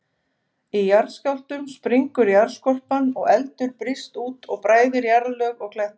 Í jarðskjálftum springur jarðskorpan, og eldur brýst út og bræðir jarðlög og kletta.